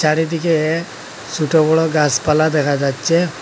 চারিদিকে দিকে ছোট বড়ো গাছপালা দেখা যাচ্ছে।